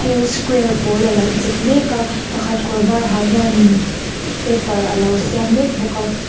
thil square pawl alo chep mek a pakhat kawr var ha hian in paper alo siam mek bawk a.